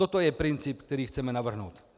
Toto je princip, který chceme navrhnout.